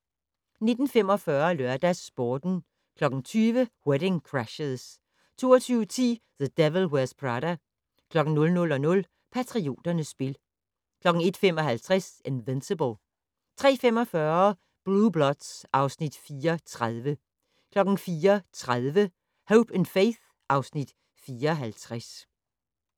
19:45: LørdagsSporten 20:00: Wedding Crashers 22:10: The Devil Wears Prada 00:00: Patrioternes spil 01:55: Invincible 03:45: Blue Bloods (Afs. 34) 04:30: Hope & Faith (Afs. 54)